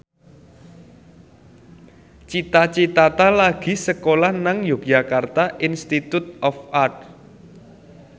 Cita Citata lagi sekolah nang Yogyakarta Institute of Art